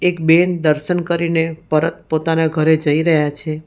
બેન દર્શન કરીને પરત પોતાના ઘરે જઈ રહ્યા છે.